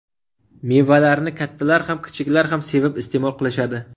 Mevalarni kattalar ham kichiklar ham sevib iste’mol qilishadi.